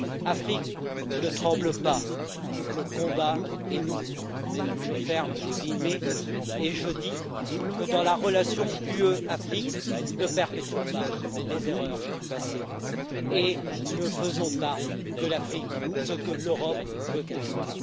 Afrique, ne tremble pas le combat est nouveau, je ferme les guillemets et je dis dans la relation UE Afrique, ne perpétuons pas les erreurs du passé et ne faisons pas de l'Afrique ce que l'Europe veut qu'elle soit.